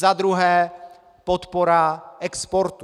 Za druhé podpora exportu.